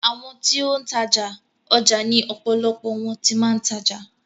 Àwọn ti ó ń tajà, ọjà ni ọ̀pọ̀lọpọ̀ wọn ti máa ń tajà.